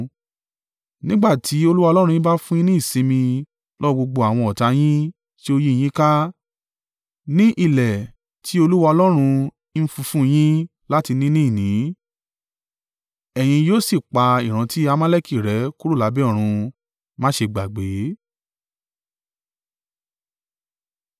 Nígbà tí Olúwa Ọlọ́run yín bá fún un yín ní ìsinmi lọ́wọ́ gbogbo àwọn ọ̀tá yín tí ó yí i yín ká ní ilẹ̀ tí Olúwa Ọlọ́run ń fi fún yín láti ni ní ìní, ẹ̀yin yóò sì pa ìrántí Amaleki rẹ́ kúrò lábẹ́ ọ̀run. Má ṣe gbàgbé.